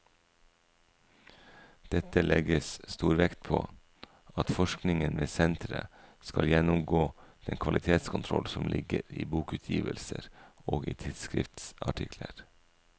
Dette legges stor vekt på at forskningen ved senteret skal gjennomgå den kvalitetskontroll som ligger i bokutgivelser og i tidsskriftsartikler.